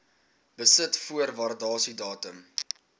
besit voor waardasiedatum